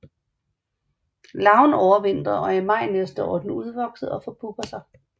Larven overvintrer og i maj næste år er den udvokset og forpupper sig